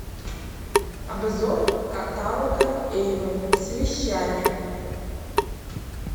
обзор каталога эйвон с вещами